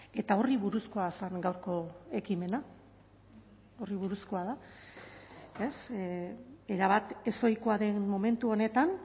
eta horri buruzkoa zen gaurko ekimena horri buruzkoa da erabat ezohikoa den momentu honetan